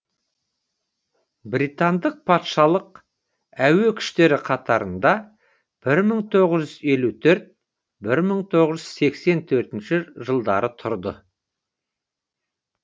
британдақ патшалық әуе күштері қатарында бір мың тоғыз жүз елу төрт бір мың тоғыз жүз сексен төртінші жылдары тұрды